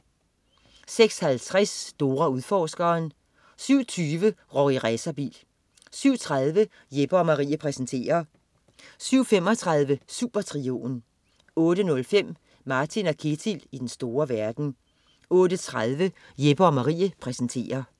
06.50 Dora Udforskeren 07.20 Rorri Racerbil 07.30 Jeppe & Marie præsenterer 07.35 Supertrioen 08.05 Martin & Ketil i den store verden 08.30 Jeppe & Marie præsenterer